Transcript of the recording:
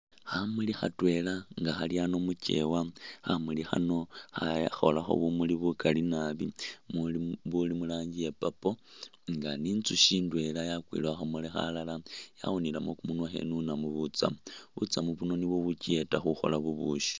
Khamuli khatwela nga khali a'ano mukewa, khamuli khano kha khakhoolakho bumuli bukali naabi muli buli mu rangi ya purple nga ni inzushi indwela yakwile khukhamuli khalala yawunilemo kumunwa khenunamo butsamu, butsamu buno nibwo bukiyeta khukhola bubushi